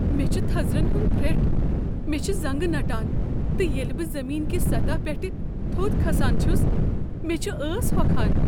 مےٚ چھ تھزرن ہنٛد پھرٹھ ۔ مےٚ چھےٚ زنٛگہ نٹان ، تہٕ ییٚلہ بہٕ زمین كہِ سطح پیٹھٕ تھوٚد كھسان چھس مے٘ چھ ٲس ہۄكھان۔